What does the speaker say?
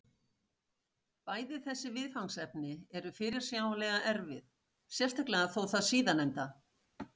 Bæði þessi viðfangsefni eru fyrirsjáanlega erfið, sérstaklega þó það síðarnefnda.